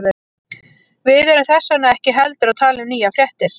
Við erum þess vegna ekki heldur að tala um nýjar fréttir.